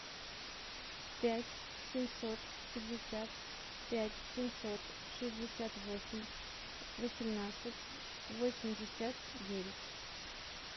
пять семьсот пятьдесят пять семьсот шестьдесят восемь восемнадцать восемьдесят девять